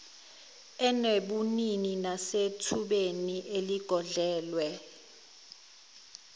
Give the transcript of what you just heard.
enobunini nasethubeni eligodlelwe